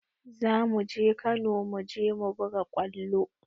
Za mu je Kano mu je mu buga kwallo